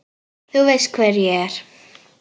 Þú veist hver ég er.